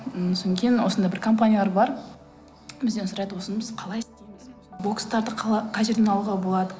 м содан кейін осындай бір компаниялар бар бізден сұрайды осыны біз қалай бокстарды қай жерден алуға болады